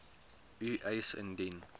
u eis indien